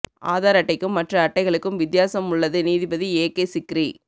ஆதார் அட்டைக்கும் மற்ற அட்டைகளுக்கும் வித்தியாசம் உள்ளது நீதிபதி ஏ கே சிக்ரி